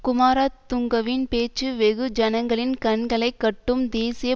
குமாரதுங்கவின் பேச்சு வெகு ஜனங்களின் கண்களை கட்டும் தேசிய